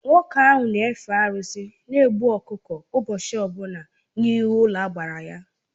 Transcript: Nwoke ahụ n'efe arụsị na egbu ọkụkọ ụbọchị ọbụla n'ihu ụlọagbara ya.